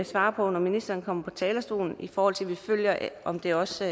svare på når ministeren kommer på talerstolen i forhold til at vi følger om det også